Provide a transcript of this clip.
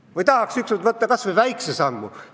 Või tahame ükskord astuda kas või väikse sammu?